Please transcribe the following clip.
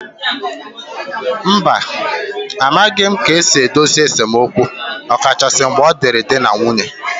Mba, a maghị m ka-esi edozi esemokwu ọkachasị mgbe ọ dịịrị di na nwunye